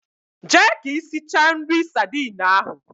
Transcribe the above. Jee ka isicha nri sardine ahu.